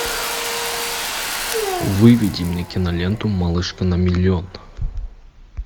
выведи мне киноленту малышка на миллион